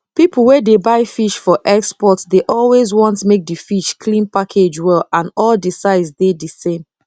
people wey dey buy fish for export dey always want make di fish clean package well and all di size dey the same